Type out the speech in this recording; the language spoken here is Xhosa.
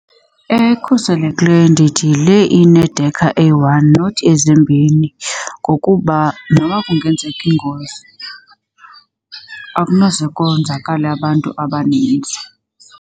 Ekhuselekileyo ndithi yile inedekha eyi-one not ezimbini ngokuba noba kungenzeka ingozi, akunoze konzakale abantu abaninzi.